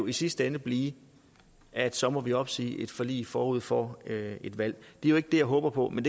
i sidste ende blive at så må vi opsige et forlig forud for et valg det er jo ikke det jeg håber på men